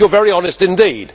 You are very honest indeed.